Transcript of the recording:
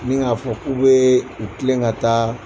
NI k'a fɔ k'u bɛ u tilen ka taa